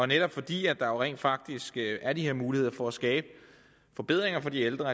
netop fordi der jo rent faktisk er de her muligheder for at skabe forbedringer for de ældre